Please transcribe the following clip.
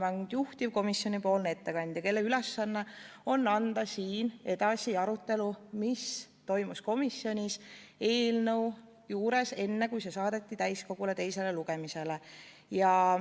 Ma olen juhtivkomisjoni ettekandja, kelle ülesanne on anda siin edasi arutelu, mis toimus komisjonis eelnõu menetledes enne, kui see saadeti täiskogu ette teisele lugemisele.